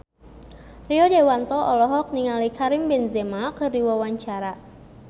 Rio Dewanto olohok ningali Karim Benzema keur diwawancara